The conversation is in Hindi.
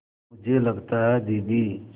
मुझे लगता है दीदी